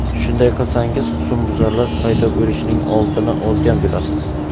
Shunday qilsangiz husnbuzarlar paydo bo‘lishining oldini olgan bo‘lasiz.